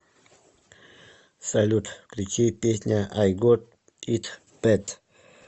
салют включи песня ай гот ит бэд